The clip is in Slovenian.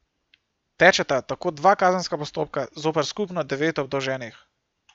Tečeta tako dva kazenska postopka zoper skupno devet obdolženih.